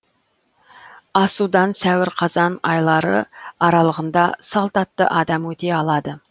асудан сәуір қазан айлары аралығында салт атты адам өте алады